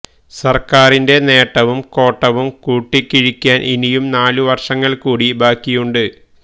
സര്ക്കാരിന്റെ നേ ട്ടവും കോട്ടവും കൂട്ടിക്കിഴി ക്കാന് ഇനിയും നാലു വര് ഷങ്ങള്ക്കൂടി ബാക്കിയുണ്ട്